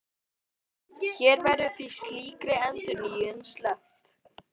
Hér verður því slíkri endurnýjun sleppt.